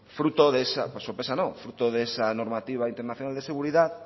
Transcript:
fruto de esa normativa internacional de seguridad